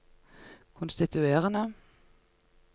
konstituerende